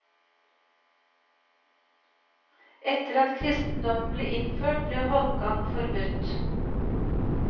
Etter at kristendommen ble innført, ble holmgang forbudt.